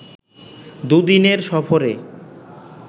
দুদিনের সফরে